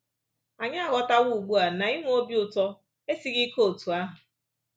Anyị aghọtawo ugbu a na inwe obi ụtọ esighị ike otú ahụ